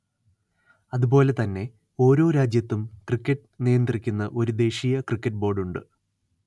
അതുപോലെതന്നെ ഓരോ രാജ്യത്തും ക്രിക്കറ്റ് നിയന്ത്രിക്കുന്ന ഒരു ദേശീയ ക്രിക്കറ്റ് ബോർഡ് ഉണ്ട്